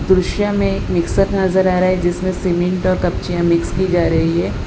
दृश्य में एक मिक्सर नजर आ रहा है जिसमें सीमेंट और कपची मिक्स की जा रहीं हैं।